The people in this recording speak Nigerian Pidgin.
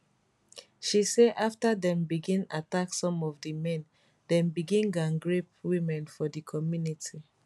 she say afta dem begin attack some of di men dem begin gang rape women for di community